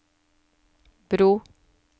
bro